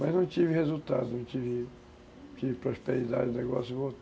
Mas não tive resultado, não tive prosperidade do negócio.